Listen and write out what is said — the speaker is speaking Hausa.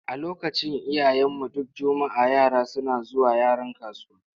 A lokacin iyayenmu, duk juma'a yara suna zuwa Yaron kasuwa.